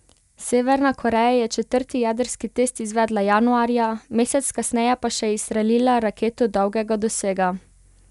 Severna Koreja je četrti jedrski test izvedla januarja, mesec kasneje pa še izstrelila raketo dolgega dosega.